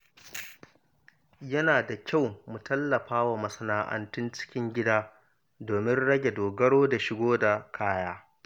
Yana da kyau mu tallafa wa masana’antun cikin gida domin rage dogaro da shigo da kaya.